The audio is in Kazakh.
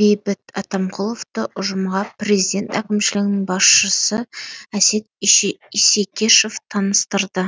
бейбіт атамқұловты ұжымға президент әкімшілігінің басшысы әсет исекешев таныстырды